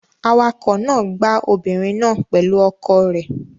Awakọ̀ náà gbá obìnrin náà pẹ̀lú ọkọ̀ rẹ̀.